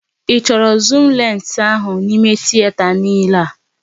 Ị chọrọ zuum lensị ahụ n'ímé tieta niile a?